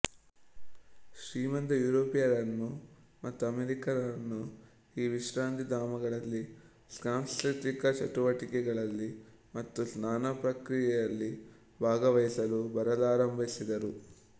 ಶ್ರೀಮಂತ ಯೂರೋಪಿಯನ್ನರು ಮತ್ತು ಅಮೇರಿಕಾನ್ನರು ಈ ವಿಶ್ರಾಂತಿಧಾಮಗಳಲ್ಲಿ ಸಾಂಸ್ಕೃತಿಕ ಚಟುವಟಿಕೆಗಳಲ್ಲಿ ಮತ್ತು ಸ್ನಾನ ಪ್ರಕ್ರಿಯಯಲ್ಲಿ ಭಾಗವಹಿಸಲು ಬರಲಾರಂಭಿಸಿದರು